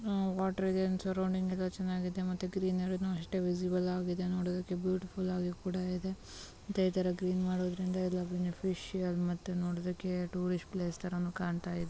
Water ಹೋಗೋಣ ಚೆನ್ನಾಗಿದೆ. ಮತ್ತೆ ಗ್ರೀನರಿ ಭೀ ಅಷ್ಟೇ ವಿಸಿಬಲ್ ನಷ್ಟ ವಿವರ ಇಲ್ಲಿದೆ ನೋಡಿ. ಬ್ಯೂಟಿಫುಲ್ ಆಗಿ ಕೂಡ ಇದೆ. ಇದರಲ್ಲಿ ಮಾಡುವುದರಿಂದ ಫಿಶ್ ಮತ್ತೆ ನೋಡಬೇಕೆ ಟೂರಿಸ್ಟ್ ಪ್ಲೇಸ್ನ್ನು ಕಾಣ್ತಾ ಇದೆ.